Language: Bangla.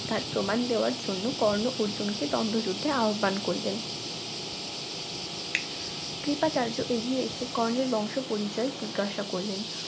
তার প্রমাণ দেওয়ার জন্য কর্ণ অর্জুনকে দ্বন্দ্ব যুদ্ধে আহ্বান করলেন কৃপাচার্য এগিয়ে এসে কর্ণের বংশ পরিচয় জিজ্ঞাসা করলেন